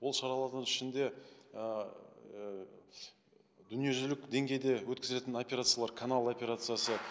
ол шаралардың ішінде ыыы дүниежүзілік деңгейде өткізетін операциялар канал операциясы